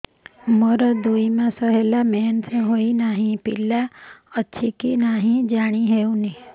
ମୋର ଦୁଇ ମାସ ହେଲା ମେନ୍ସେସ ହୋଇ ନାହିଁ ପିଲା ଅଛି କି ନାହିଁ ଜାଣି ହେଉନି